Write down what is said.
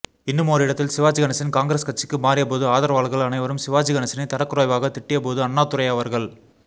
இன்னுமோர் இடத்தில் சிவாஜி கணேசன் காங்கிரஸ் கட்சிக்கு மாறியபோது ஆதரவாளர்கள் அனைவரும் சிவாஜி கணேசனை தரக்குறைவாகத் திட்டியபோது அண்ணாத்துரை அவர்கள்